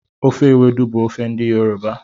Ofe ewedu bụ ofe ndị yoroba